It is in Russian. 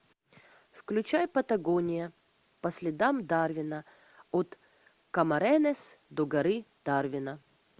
включай патагония по следам дарвина от камаронес до горы дарвина